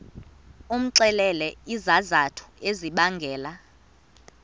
umxelele izizathu ezibangela